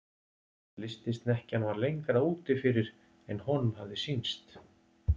Lystisnekkjan var lengra úti fyrir en honum hafði sýnst.